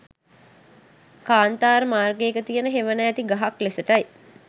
කාන්තාර මාර්ගයක තියෙන හෙවන ඇති ගහක් ලෙසටයි